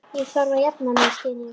Ég þarf að jafna mig, styn ég.